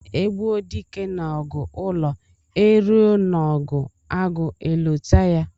E gbuo dike n'ọgụ ụlọ, e ruo n'ọgụ agụ e lote ya.